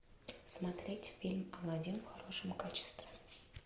смотреть фильм аладдин в хорошем качестве